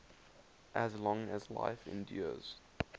as long as life endures